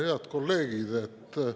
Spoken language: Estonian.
Head kolleegid!